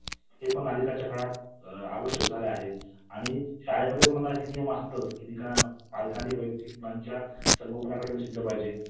अनुवाद केलेला आहे doctor रमा मराठे. आणि publication केलं आहे म्हणजे publication~ publishing house यांनी. अं द सिक्रेट हे आंतरराष्ट्रीय पातळीवर नावाजलेले पुस्तक आहे.